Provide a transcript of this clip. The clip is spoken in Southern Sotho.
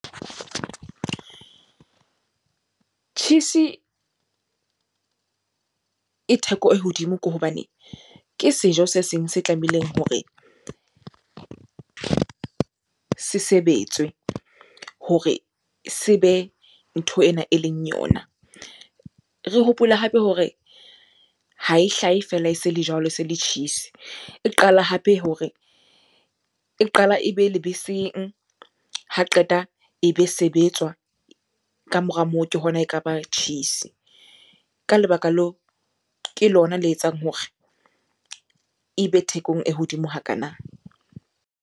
Tjhisi e theko e hodimo ke hobane, ke sejo se seng se tlamehileng hore se sebetswe hore se be ntho ena eleng yona. Re hopole hape hore ha e hlahe feela e se le jwalo, se le tjhisi. E qala hape hore, e qala ebe lebeseng, ha qeta e be sebetswa. Ka mora moo, ke hona eka ba tjhisi. Ka lebaka leo ke lona le etsang hore e be thekong e hodimo hakana.